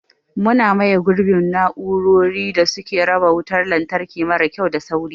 Muna maye gurbin na'urorin da suke raba wutar lantarki mara kyau da sauri.